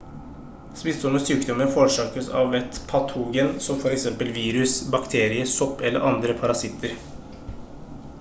smittsomme sykdommer forårsakes av et patogen som f.eks virus bakterie sopp eller andre parasitter